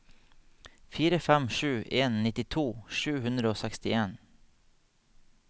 fire fem sju en nittito sju hundre og sekstien